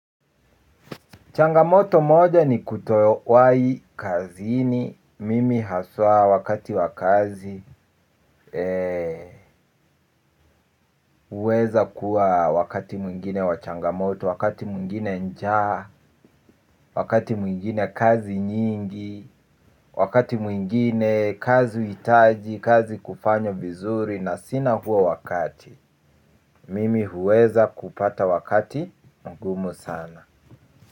Changamoto moja ni kutowahi kazini, mimi haswa wakati wa kazi, huweza kuwa wakati mwingine wa changamoto, wakati mwingine njaa, wakati mwingine kazi nyingi, wakati mwingine kazi huhitaji, kazi kufanywa vizuri na sina huo wakati, mimi huweza kupata wakati ngumu sana.